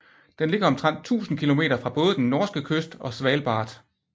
Den ligger omtrent 1000 kilometer fra både den norske kyst og Svalbard